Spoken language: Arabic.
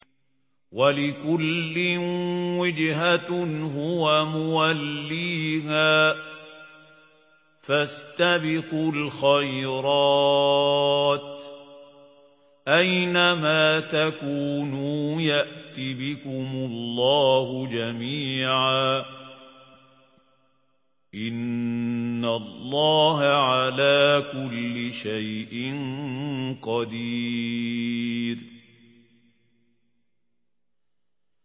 وَلِكُلٍّ وِجْهَةٌ هُوَ مُوَلِّيهَا ۖ فَاسْتَبِقُوا الْخَيْرَاتِ ۚ أَيْنَ مَا تَكُونُوا يَأْتِ بِكُمُ اللَّهُ جَمِيعًا ۚ إِنَّ اللَّهَ عَلَىٰ كُلِّ شَيْءٍ قَدِيرٌ